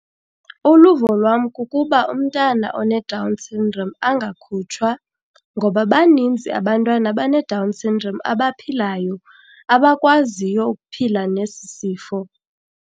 Uluvo lwam kukuba umntana oneDown syndrome angakhutshwa ngoba baninzi abantwana abaneDown syndrome abaphilayo, abakwaziyo ukuphila nesi sifo.